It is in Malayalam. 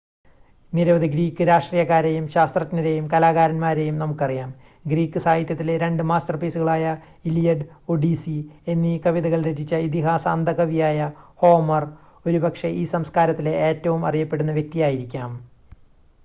നിരവധി ഗ്രീക്ക് രാഷ്‌ട്രീയക്കാരെയും ശാസ്ത്രജ്ഞരെയും കലാകാരന്മാരെയും നമുക്കറിയാം ഗ്രീക്ക് സാഹിത്യത്തിലെ രണ്ട് മാസ്റ്റർപീസുകളായ ഇലിയഡ് ഒഡീസി എന്നീ കവിതകൾ രചിച്ച ഇതിഹാസ അന്ധ കവിയായ ഹോമർ ഒരുപക്ഷെ ഈ സംസ്കാരത്തിലെ ഏറ്റവും അറിയപ്പെടുന്ന വ്യക്തിയായിരിക്കാം